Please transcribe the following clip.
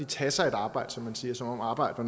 tage sig et arbejde som man siger som om arbejde